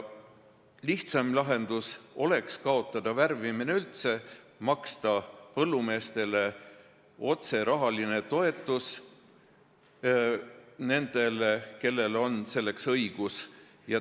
Lihtsam lahendus oleks lõpetada värvimine üldse, maksta põllumeestele otse rahalist toetust – nendele, kellel on selleks õigus.